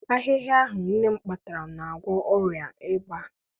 Ahịhịa ahụ nne m kpatara na-agwọ ọrịa ịba.